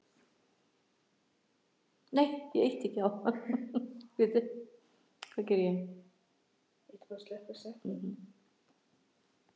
Fljótt urðu takmarkanir hugtaksins ljósar.